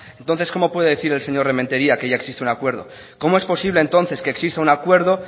entonces cómo puede decir el señor remetería que ya existe un acuerdo cómo es posible entonces que exista un acuerdo